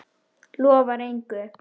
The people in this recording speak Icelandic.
Lofar engu.